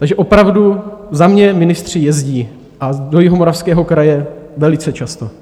Takže opravdu za mě ministři jezdí, a do Jihomoravského kraje velice často.